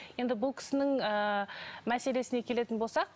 енді бұл кісінің ыыы мәселесіне келетін болсақ